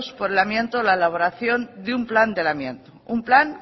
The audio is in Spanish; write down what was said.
por el amianto la elaboración de un plan del amianto un plan